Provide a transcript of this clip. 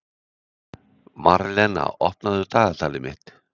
Marlena, opnaðu dagatalið mitt.